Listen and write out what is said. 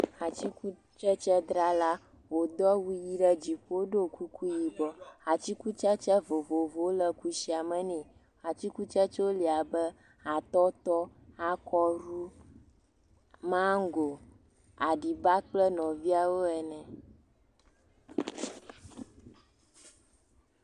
Atikutsetsedrala, wòdo awu ʋi ɖe dziƒo do kuku yibɔ. Atikutsete vovovowo le kushia me nɛ. Atsikutsetsewo le abe, atɔtɔ, akɔru, maŋgo, aɖiba kple nɔviawo ene.